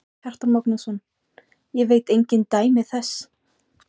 Kjartan Magnússon: Ég veit engin dæmi þess?